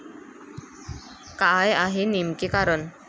काय आहे नेमके कारण?